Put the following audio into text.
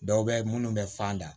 Dɔw bɛ minnu bɛ fan da